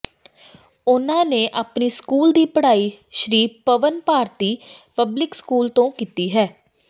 ਉਨ੍ਹਾਂ ਨੇ ਆਪਣੀ ਸਕੂਲ ਦੀ ਪੜਾਈ ਸ਼੍ਰੀ ਭਵਨ ਭਾਰਤੀ ਪਬਲਿਕ ਸਕੂਲ ਤੋਂ ਕੀਤੀ ਹੈ